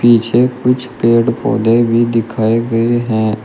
पीछे कुछ पेड़ पौधे भी दिखाए गए हैं।